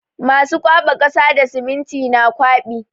Masu kwaɓa kasa da siminti na kwaɓi.